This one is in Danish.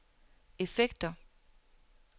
effekter